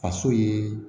Faso ye